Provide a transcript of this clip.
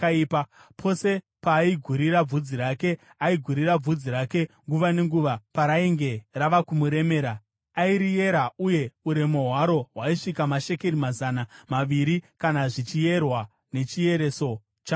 Pose paaigurira bvudzi rake, aigurira bvudzi rake nguva nenguva parainge rava kumuremera, airiyera, uye uremu hwaro hwaisvika mashekeri mazana maviri kana zvichierwa nechiereso chamambo.